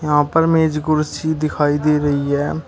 यहां पर मेज कुर्सी दिखाई दे रही है।